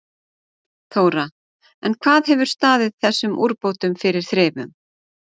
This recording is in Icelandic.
Þóra: En hvað hefur staðið þessum úrbótum fyrir þrifum?